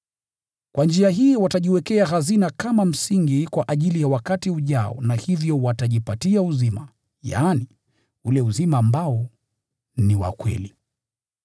Kwa njia hii watajiwekea hazina kama msingi kwa ajili ya wakati ujao na hivyo watajipatia uzima, yaani, ule uzima ambao ni wa kweli.